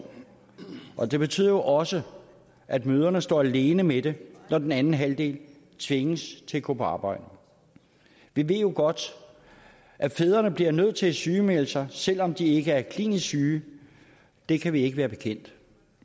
og det betyder også at mødrene står alene med det når den anden halvdel tvinges til at gå på arbejde vi ved jo godt at fædrene bliver nødt til at sygemelde sig selv om de ikke er klinisk syge det kan vi ikke være bekendt